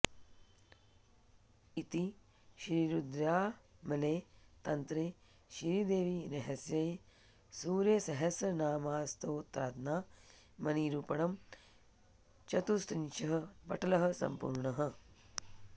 इति श्रीरुद्रयामले तन्त्रे श्रीदेवीरहस्ये सूर्यसहस्रनामस्तोत्रनामनिरूपणं चतुस्त्रिंशः पटलः सम्पूर्णः